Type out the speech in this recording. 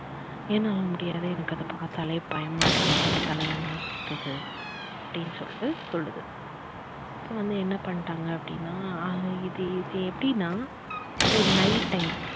என்னால முடியாது எனக்கு அத பார்த்தாலே பயமா இருக்கு எனக்கு தலை எல்லாம் சுத்துது அப்படின்னு சொல்லிட்டு சொல்லுது. அப்புறம் வந்து என்ன பண்டாங்க அப்படின்னா அத இது இது எப்படின்னா ஒரு night time